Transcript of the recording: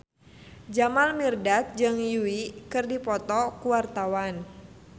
Jamal Mirdad jeung Yui keur dipoto ku wartawan